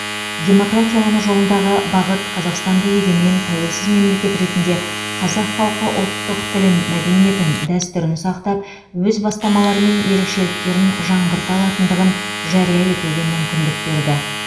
демократиялану жолындағы бағыт қазақстанды егемен тәуелсіз мемлекет ретінде қазақ халқы ұлттық тілін мәдениетін дәстүрін сақтап өз бастамалары мен ерекшеліктерін жаңғырта алатындығын жария етуге мүмкіндік берді